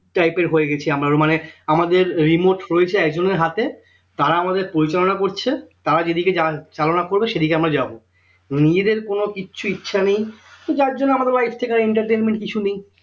Type এর হয়ে গেছি আমার মানে আমাদের remote রয়েছে আমাদের হাতে তারা আমাদের পরিচালিনা করছে তার যেদিকে চালনা করবে সেদিকে আমরা যাব নিজেদের কোন কিচ্ছু ইচ্ছা নেই তো যার জন্য আমাদের life থেকে entertainment কিছু নেই